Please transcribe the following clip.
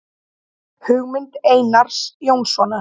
Hugmynd Einars Jónssonar.